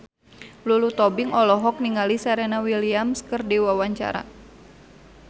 Lulu Tobing olohok ningali Serena Williams keur diwawancara